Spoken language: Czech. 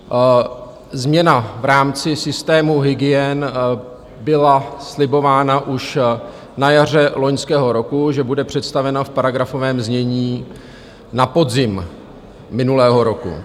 Změna v rámci systému hygien byla slibována už na jaře loňského roku, že bude představena v paragrafovém znění na podzim minulého roku.